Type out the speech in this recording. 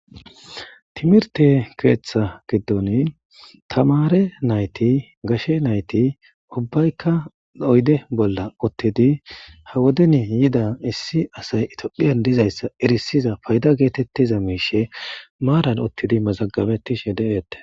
timirte keeththa giddon tamare nayti gashe nayti ubbaykka doyde bolla ottidi ha woden yida issi asay itaphiyan dizayssa erisiza payda geetettiza miishe maaran ottidi mazagabettishe deeette